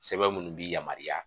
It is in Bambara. Sɛbɛn minnu bi yamaruya